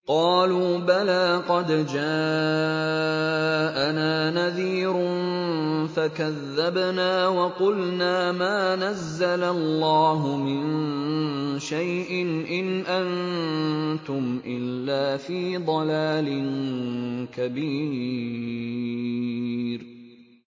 قَالُوا بَلَىٰ قَدْ جَاءَنَا نَذِيرٌ فَكَذَّبْنَا وَقُلْنَا مَا نَزَّلَ اللَّهُ مِن شَيْءٍ إِنْ أَنتُمْ إِلَّا فِي ضَلَالٍ كَبِيرٍ